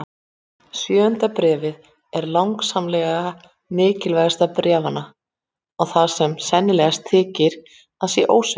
Sjöunda bréfið er langsamlega mikilvægast bréfanna og það sem sennilegast þykir að sé ósvikið.